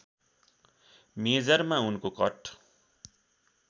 मेजरमा उनको कट